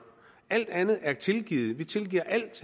alt andet er tilgivet vi tilgiver alt